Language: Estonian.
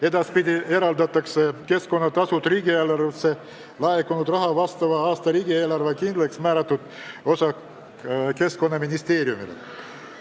Edaspidi eraldatakse keskkonnatasudest riigieelarvesse laekunud rahast vastaval aastal riigieelarves kindlaksmääratud osa Keskkonnaministeeriumile.